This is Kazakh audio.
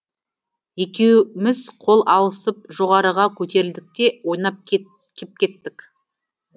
екеуміз қол алысып жоғарыға көтерілдік те ойнап кеп кеттік